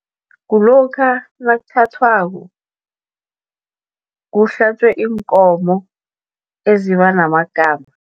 Kulokha nakuthathwako, kuhlatjwe iinkomo eziba namagama.